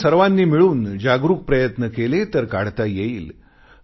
आपण सर्वानी मिळून जागरूक प्रयत्न केले तर काढता येईल